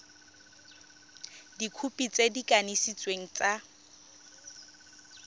dikhopi tse di kanisitsweng tsa